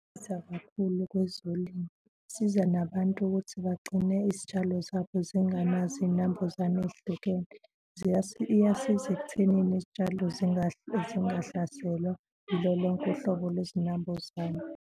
kakhulu kwezolimo. Kusiza nabantu ukuthi bagcine izitshalo zabo zingenazo iy'nambuzane ey'hlukene, iyasiza ekuthenini izitshalo zingahlaselwa yilo lonke uhlobo lwezinambuzane.